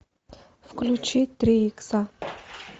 включи три икса